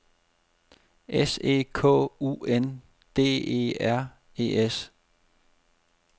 S E K U N D E R E S